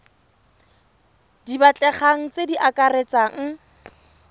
di batlegang tse di akaretsang